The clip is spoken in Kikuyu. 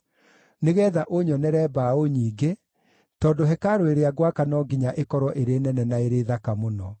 nĩgeetha ũnyonere mbaũ nyingĩ, tondũ hekarũ ĩrĩa ngwaka no nginya ĩkorwo ĩrĩ nene na ĩrĩ thaka mũno.